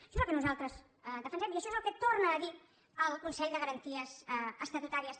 això és el que nosaltres defensem i això és el que torna a dir el consell de garanties estatutàries